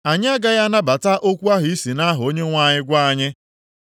“Anyị agaghị anabata okwu ahụ i si nʼaha Onyenwe anyị gwa anyị